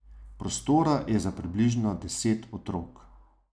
Prostora je za približno deset otrok.